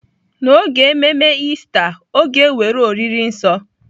N'oge ememe Ista, ọ ga-ewere oriri nsọ.